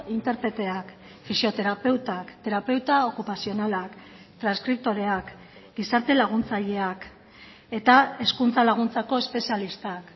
interpreteak fisioterapeutak terapeuta okupazionalak transkriptoreak gizarte laguntzaileak eta hezkuntza laguntzako espezialistak